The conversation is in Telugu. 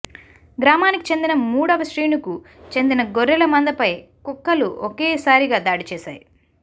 గ్రామానికి చెందిన మూడవ శ్రీనుకు చెందిన గొర్రెల మందపై కుక్కలు ఒకే సారిగా దాడి చేశాయి